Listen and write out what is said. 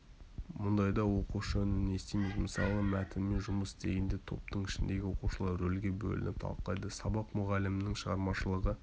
мұндайда оқушы үнін естиміз мысалы мәтінмен жұмыс істегенде топтың ішіндегі оқушылар рөлге бөлініп талқылайды сабақ-мұғалімнің шығармашылығы